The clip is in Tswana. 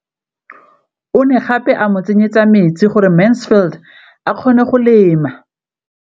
O ne gape a mo tsenyetsa metsi gore Mansfield a kgone go lema.